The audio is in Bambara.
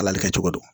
Ala le kɛ cogo don